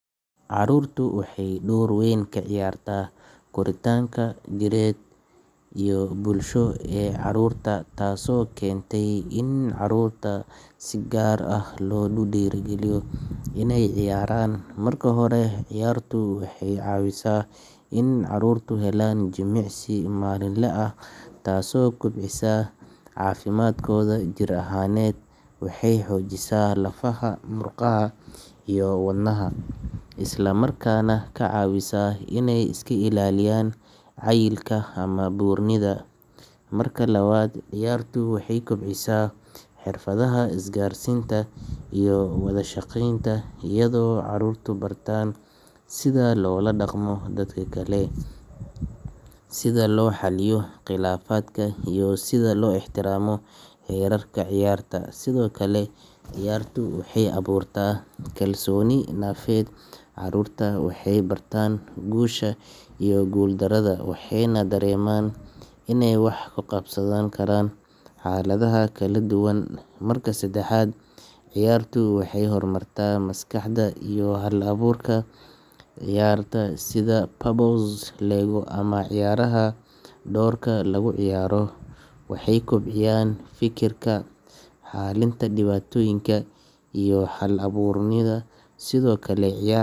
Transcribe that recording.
ciyaartu waxay door weyn ka ciyaartaa koritaanka maskaxeed, jireed iyo bulsho ee carruurta taasoo keentay in carruurta si gaar ah loogu dhiirrigeliyo inay ciyaaraan marka hore ciyaartu waxay caawisaa in carruurtu helaan jimicsi maalinle ah taasoo kobcisa caafimaadkooda jir ahaaneed waxay xoojisaa lafaha, murqaha iyo wadnaha isla markaana ka caawisa inay iska ilaaliyaan cayilka ama buurnida marka labaad ciyaartu waxay kobcisaa xirfadaha isgaarsiinta iyo wada shaqeynta iyadoo carruurtu bartaan sida loola dhaqmo dadka kale, sida loo xaliyo khilaafaadka iyo sida loo ixtiraamo xeerarka ciyaarta sidoo kale ciyaartu waxay abuurtaa kalsooni nafeed carruurta waxay bartaan guusha iyo guuldarrada waxayna dareemaan inay wax ka qabsan karaan xaaladaha kala duwan marka saddexaad ciyaartu waxay horumartaa maskaxda iyo hal-abuurka carruurta ciyaaraha sida puzzle, lego ama ciyaaraha doorka lagu ciyaaro waxay kobciyaan fikirka, xallinta dhibaatooyinka iyo hal-abuurnimada sidoo kale ciyaar.